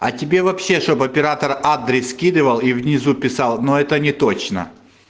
а тебе вообще чтобы оператор адрес скидывал и внизу писал но это не точно